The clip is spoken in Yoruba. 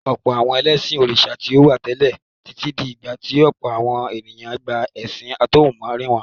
Ọ̀pọ̀ àwọn ẹlẹ́sìn òrìṣà ni ó wà tẹ́lẹ̀ títí di ìgbà tí ọ̀pọ̀ àwọn ènìyàn gba ẹ̀sìn àtọ̀húnrìnwá.